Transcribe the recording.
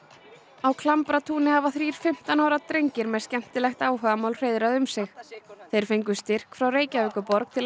á Klambratúni hafa þrír fimmtán ára drengir með skemmtilegt áhugamál hreiðrað um sig þeir fengu styrk frá Reykjavíkurborg til að